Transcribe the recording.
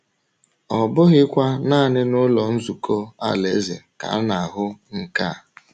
Ọ bụghịkwa nanị n’Ụlọ Nzukọ Alaeze ka a na-ahụ nke a.